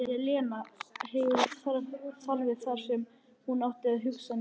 Elena hefur þarfir þar sem hún ætti að hafa hugsanir.